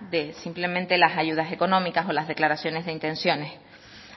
de simplemente las ayudas económicas o las declaraciones de intenciones